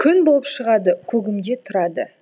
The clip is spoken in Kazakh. күн болып шығады көгімде тұрады